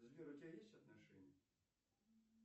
сбер у тебя есть отношения